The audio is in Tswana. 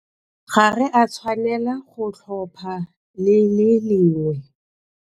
Ga re a tshwanela go tlhopha le le lengwe.